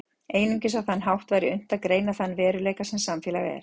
Einungis á þann hátt væri unnt að greina þann veruleika sem samfélag er.